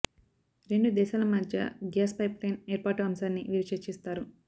రెండు దేశాల మధ్య గ్యాస్ పైప్లైన్ ఏర్పాటు అంశాన్ని వీరు చర్చిస్తారు